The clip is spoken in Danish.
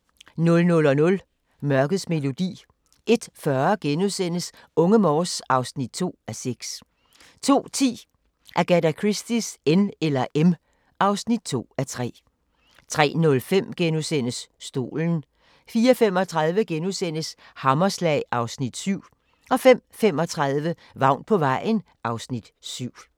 00:00: Mørkets melodi 01:40: Unge Morse (2:6)* 02:10: Agatha Christies N eller M (2:3) 03:05: Stolen * 04:35: Hammerslag (Afs. 7)* 05:35: Vagn på vejen (Afs. 7)